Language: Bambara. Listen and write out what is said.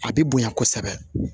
A bɛ bonya kosɛbɛ